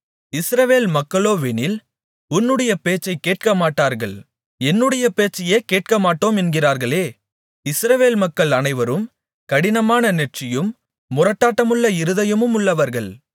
இஸ்ரவேல் மக்களோவெனில் உன்னுடைய பேச்சை கேட்கமாட்டார்கள் என்னுடைய பேச்சையே கேட்கமாட்டோம் என்கிறார்களே இஸ்ரவேல் மக்கள் அனைவரும் கடினமான நெற்றியும் முரட்டாட்டமுள்ள இருதயமும் உள்ளவர்கள்